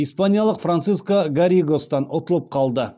испаниялық франциско гарригостан ұтылып қалды